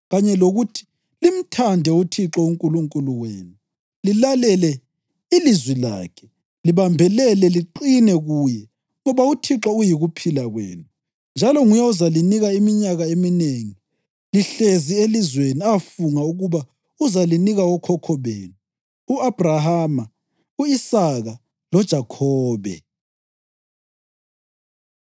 kanye lokuthi limthande uThixo uNkulunkulu wenu, lilalele ilizwi lakhe, libambelele liqine kuye, ngoba uThixo uyikuphila kwenu, njalo nguye ozalinika iminyaka eminengi lihlezi elizweni afunga ukuba uzalinika okhokho benu, u-Abhrahama, u-Isaka loJakhobe.”